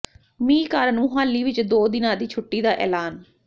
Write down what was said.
ਮੀਂਹ ਕਾਰਨ ਮੁਹਾਲੀ ਵਿੱਚ ਦੋ ਦਿਨਾਂ ਦੀ ਛੁੱਟੀ ਦਾ ਐਲਾਨ